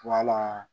Wala